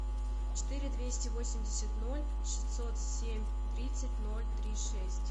четыре двести восемьдесят ноль шестьсот семь тридцать ноль три шесть